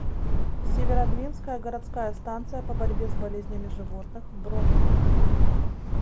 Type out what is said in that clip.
северодвинская городская станция по борьбе с болезнями животных бронь